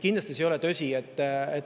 Kindlasti ei ole see tõsi.